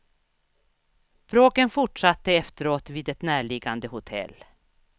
Bråken fortsatte efteråt vid ett närliggande hotell.